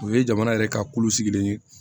O ye jamana yɛrɛ ka kolo sigilen ye